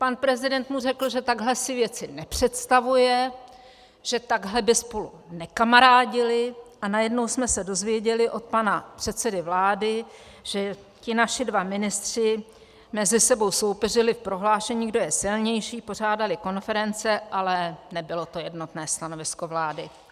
Pan prezident mu řekl, že takhle si věci nepředstavuje, že takhle by spolu nekamarádili, a najednou jsme se dozvěděli od pana předsedy vlády, že ti naši dva ministři mezi sebou soupeřili v prohlášení, kdo je silnější, pořádali konference, ale nebylo to jednotné stanovisko vlády.